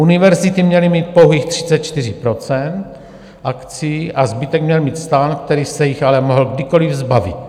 Univerzity měly mít pouhých 34 % akcií a zbytek měl mít stan , který se jich ale mohl kdykoliv zbavit.